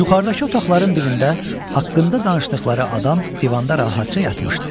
Yuxarıdakı otaqların birində haqqında danışdıqları adam divanda rahatca yatmışdı.